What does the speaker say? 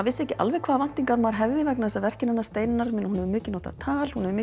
vissi ekki alveg hvaða væntingar maður hefði vegna þess að verkin hennar Steinunnar hún hefur mikið notað tal hún hefur